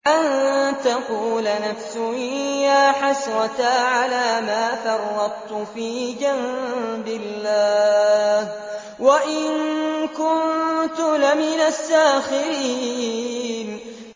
أَن تَقُولَ نَفْسٌ يَا حَسْرَتَا عَلَىٰ مَا فَرَّطتُ فِي جَنبِ اللَّهِ وَإِن كُنتُ لَمِنَ السَّاخِرِينَ